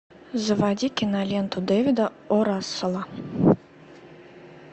заводи киноленту дэвида о расселла